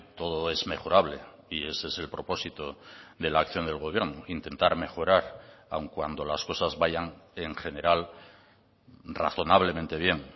todo es mejorable y ese es el propósito de la acción del gobierno intentar mejorar aun cuando las cosas vayan en general razonablemente bien